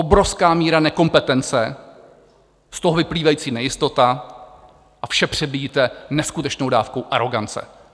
Obrovská míra nekompetence, z toho vyplývající nejistota a vše přebíjíte neskutečnou dávkou arogance.